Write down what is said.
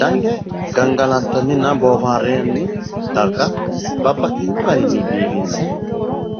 dange gangalantannina booharranni darga babbaxino garinni biiffinse